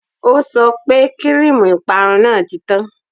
O sọ pé kíríìmù ìparun náà ti tán